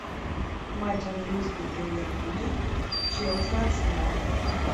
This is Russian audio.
матч английской премьер лиги челси арсенал